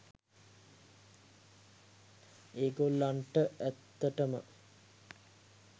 ඔය ගොල්ලන්ට ඇත්තටම